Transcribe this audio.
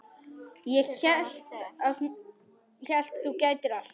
Ég hélt þú gætir allt.